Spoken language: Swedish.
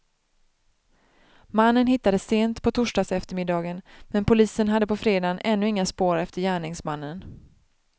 Mannen hittades sent på torsdagseftermiddagen, men polisen hade på fredagen ännu inga spår efter gärningsmannen.